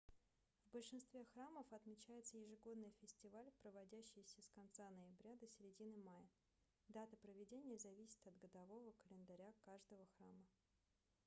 в большинстве храмов отмечается ежегодный фестиваль проводящийся с конца ноября до середины мая даты проведения зависят от годового календаря каждого храма